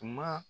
Tuma